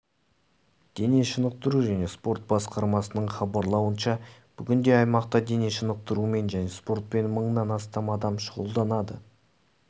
дене шынықтыру және спорт басқармасының хабарлауынша бүгінде аймақта дене шынықтырумен және спортпен мыңнан астам адам шұғылданады